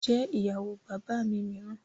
Jẹ́ ìyàwó bàbá mi mìíràn